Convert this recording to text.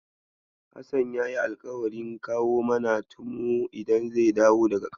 Hassan ya yi alƙawarin kawo mana tumu idan zai dawo daga ƙauye.